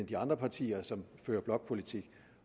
de andre partier som fører blokpolitik